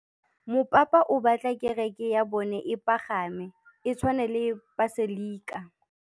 Mopapa o batla kereke ya bone e pagame, e tshwane le paselika.